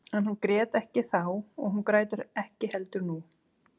En hún grét ekki þá og hún grætur ekki heldur nú.